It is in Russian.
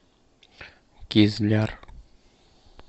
кизляр